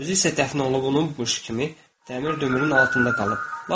Özü isə dəfn olunub, onun qəşəng kimi dəmir dömürün altında qalıb.